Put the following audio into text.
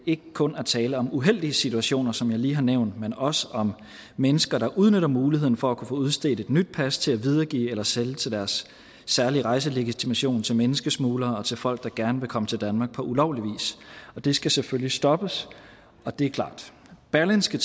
ikke kun er tale om uheldige situationer som jeg lige har nævnt men også om mennesker der udnytter muligheden for at kunne få udstedt et nyt pas til at videregive eller sælge deres særlige rejselegitimation til menneskesmuglere og til folk der gerne vil komme til danmark på ulovlig vis og det skal selvfølgelig stoppes det er klart berlingske